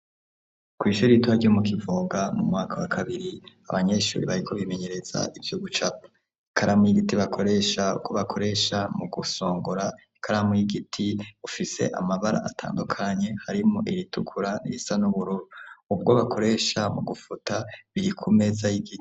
Ku ishuri ritoya ryo mu Kivoga mu mwaka wa kabiri abanyeshuri bariko bimenyereza ivyo gucapa ikaramu y'igiti bakoresha ako bakoresha mu gusongora ikaramu y'igiti ifise amabara atandukanye harimwo iritukura irisa n'ubururu ubwo bakoresha mu gufuta biri kumeza y'igiti.